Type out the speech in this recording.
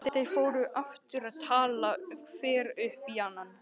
Þeir fóru aftur að tala hver upp í annan.